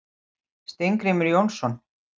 Steingrímur Jónsson.